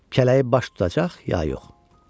Kələyi baş tutacaq, ya yox?